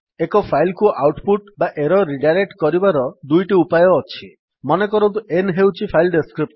ଏକ ଫାଇଲ୍ କୁ output ବା ଏରର୍ ରିଡାଇରେକ୍ଟ୍ କରିବାର ଦୁଇଟି ଉପାୟ ଅଛି ମନେକରନ୍ତୁ n ହେଉଛି ଫାଇଲ୍ ଡେସ୍କ୍ରିପ୍ଟର୍